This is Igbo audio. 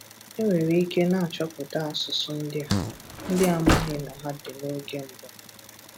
E nwere ike na-achọpụta asụsụ ndị a, ndị a maghị na ha dị n’oge mbụ.